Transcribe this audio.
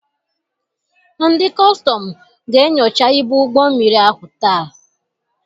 Ndị kọstọm ga-enyocha ibu ụgbọ mmiri ahụ taa.